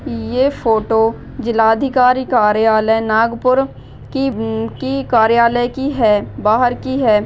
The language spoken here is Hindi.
ये फोटो जिल्हा अधिकारी कार्यालय नागपूर की की कार्यालय की है बाहर की है।